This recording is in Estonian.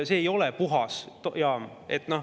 See ei ole puhas jaam.